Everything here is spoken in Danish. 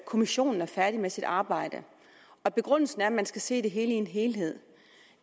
kommissionen er færdig med sit arbejde og begrundelsen er at man skal se det hele i en helhed